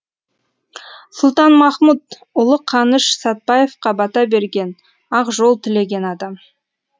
сұлтанмахмұт ұлы қаныш сәтбаевқа бата берген ақ жол тілеген адам